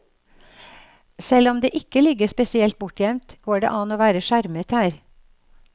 Selv om det ikke ligger spesielt bortgjemt, går det an å være skjermet her.